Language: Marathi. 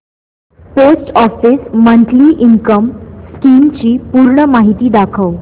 post office monthly income scheme ची पूर्ण माहिती दाखव